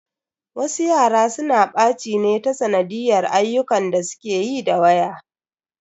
Wasu yara suna ɓaci ne ta sanadiyyar ayyukan da suke yi da waya.